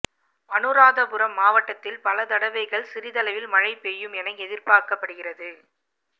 அனுராதபுரம் மாவட்டத்தில் பல தடவைகள் சிறிதளவில் மழை பெய்யும் என எதிர்பார்க்கப்படுகின்றது